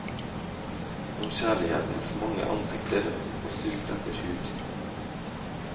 Om kjærlighetens mange ansikter og sult etter hud.